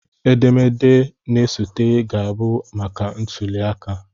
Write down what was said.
Edemede ya na-esote ga-abụ maka ntuliaka